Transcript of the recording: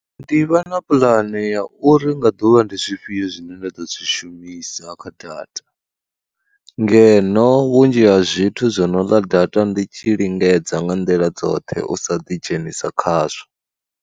Ndi vha na puḽane ya uri nga ḓuvha ndi zwifhio zwine nda ḓo zwi shumisa kha data, ngeno vhunzhi ha zwithu zwo no ḽa data ndi tshi lingedza nga nḓila dzoṱhe u sa ḓidzhenisa khazwo.